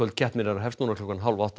keppninnar hefst núna klukkan hálf átta